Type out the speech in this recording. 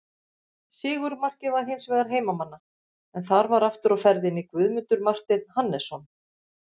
Sigurmarkið var hins vegar heimamanna en þar var aftur á ferðinni Guðmundur Marteinn Hannesson.